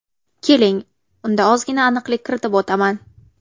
Keling, unda ozgina aniqlik kiritib o‘taman.